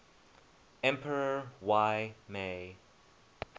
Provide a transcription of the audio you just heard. emperor y mei